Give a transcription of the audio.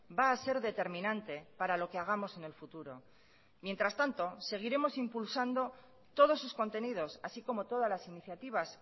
va a ser determinante para lo que hagamos en el futuro mientras tanto seguiremos impulsando todos sus contenidos así como todas las iniciativas